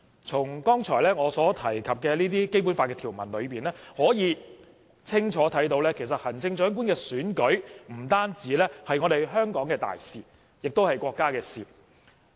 從我剛才提及的《基本法》條文，可以清楚看到行政長官選舉不單是香港的大事，亦是國家的事。